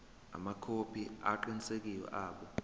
amakhophi aqinisekisiwe abo